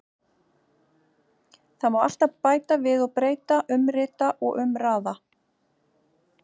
Það má alltaf bæta við og breyta, umrita og umraða.